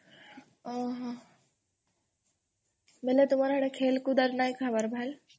ଓହୋ ମାନେ ତମର ସେ ଆଡ଼େ ଖେଲକୁଦ୍ ନାଇଁ ହେବାର?